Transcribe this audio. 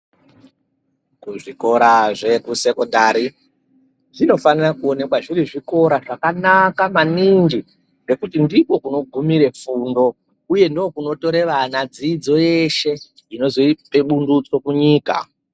Kuzvikora zvekusekodhari zvinofanira kuonekwa zviri zvikora zvakanaka maningi ,ngekuti ndikwo kunogumire fundo uye ndokunotore vana dzidzo yeshe inozope bundutso kunyika.